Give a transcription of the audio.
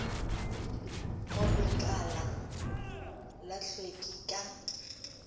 go lekala la hlweki ka